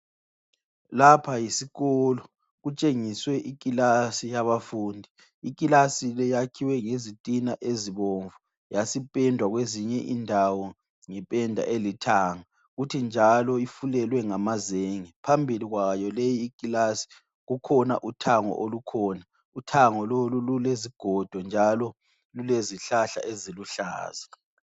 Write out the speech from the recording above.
Lapha yisikolo, kutshengiswe ikilasi yabafundi. Ikilasi le yakhiwe ngezitina ezibomvu, yasipendwa kwezinye indawo ngependa elithanga. Kuthi njalo ifulelwe ngamazenge. Phambili kwayo leyi ikilasi kukhona uthango olukhona. Uthango lolu lulezigodo njalo lulezihlahla eziluhlaza.